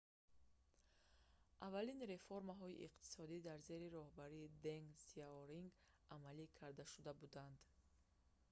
аввалин реформаҳои иқтисодӣ дар зери роҳбарии денг сияоринг амалӣ карда шуда буданд